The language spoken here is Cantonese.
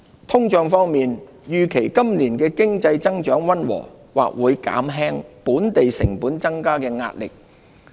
通脹方面，預期今年經濟增長溫和，或會減輕本地成本增加的壓力。